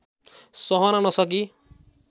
सहन नसकी